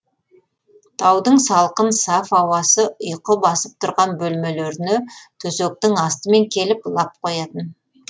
таудың салқын саф ауасы ұйқы басып тұрған бөлмелеріне төсектің астымен келіп лап қоятын